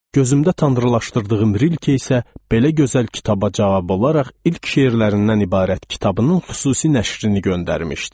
Gözümdə tanrılaşdırdığım Rilke isə belə gözəl kitaba cavab olaraq ilk şeirlərindən ibarət kitabının xüsusi nəşrini göndərmişdi.